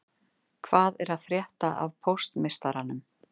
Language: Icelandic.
Hvað er að frétta af póstmeistaranum